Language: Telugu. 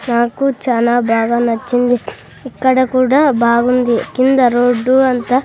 నాకు చాలా బాగా నచ్చింది ఇక్కడ కూడా బాగుంది కింద రోడ్డు అంతా--